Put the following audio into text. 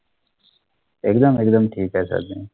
एकदम एकदम टिक आहे सर मी.